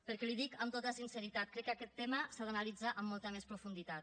perquè li ho dic amb tota sinceritat crec que aquest tema s’ha d’analitzar amb molta més profunditat